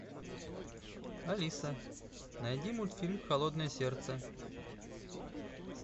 алиса найди мультфильм холодное сердце